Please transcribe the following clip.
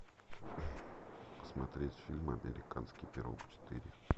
смотреть фильм американский пирог четыре